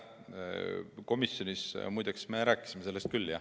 Komisjonis me rääkisime sellest küll.